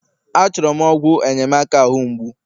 Achọrọ m ọgwụ enyemaka ahu mgbu